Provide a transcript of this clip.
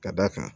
Ka d'a kan